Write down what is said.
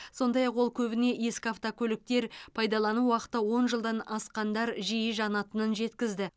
сондай ақ ол көбіне ескі автокөліктер пайдалану уақыты он жылдан асқандар жиі жанатынын жеткізді